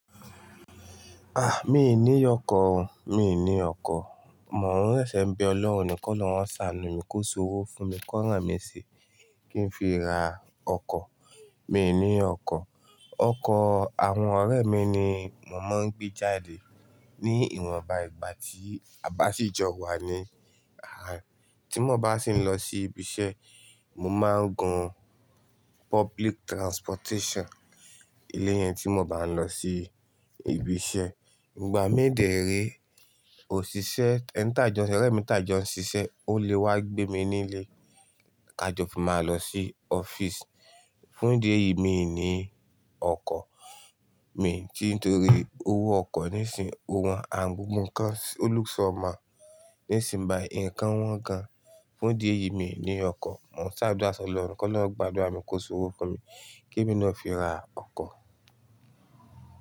Ah, mi ò ní ọkọ̀ o, mi ò ní ọkọ̀. Mò ń sẹ̀sẹ̀ be ọlọ́run ko'lorun o ṣàánù mi kó ṣowó fún mi ko rán mi ṣé kí n fi ra ọkọ̀. Mi ò ní ọkọ̀. Ọkọ̀ àwọn ọ̀rẹ́ mi ni mò máa ń gbé jáde ní ìwọnba ìgbà tí a bá sì jọ wà ní Tí mo bá sì ń lọ sí ibi iṣẹ́, mo máa ń gun public transportation. Ilé yẹn tí mo bá ń lọ sí ibi iṣẹ́. Ìgbà mi de rè oṣiṣẹ́, ẹ́ńtàjọ, ọ̀rẹ́ mi ń tà jọ ṣiṣẹ́, ó lè wá gbé mi nílé, ká jọ fún máa lọ sí ọ́fíìsì. Fún ìdí èyí, mi ò ní ọkọ̀ mi, ni torí owó ọkọ̀ nísìnyí o wọ́n, and gbogbo nkan o look somehow nísìnyi bàyi, nǹkan wọ́n gan. Fún ìdí èyí, mi ò ní ọkọ̀. Mò ń ṣàdúrà sí Ọlọ́run kó lọrun gbàdúrà mi kó ṣọwọ́ fún mi kí èmi náà fi ra ọkọ̀